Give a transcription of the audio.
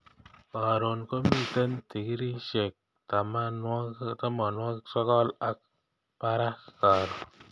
Karon komiten tikriishek tamanwogik sogol ak parak karon